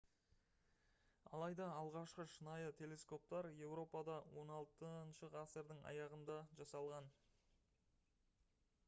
алайда алғашқы шынайы телескоптар еуропада 16 ғасырдың аяғында жасалған